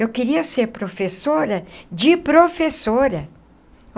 Eu queria ser professora de professora.